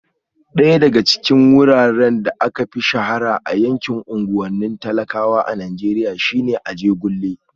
Daya daga cikin wuraren da aka fi shahara a yankin unguwannin talakawa a Najeriya shine Ajegunle